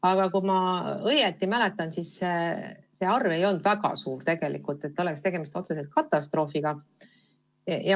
Aga kui ma õigesti mäletan, siis see arv ei olnud tegelikult väga suur, et oleks tegemist otseselt katastroofiga.